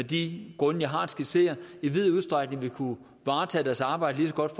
de grunde jeg har skitseret i vid udstrækning vil kunne varetage deres arbejde lige så godt